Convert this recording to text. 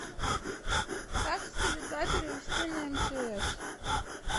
как с теле два перевести на мтс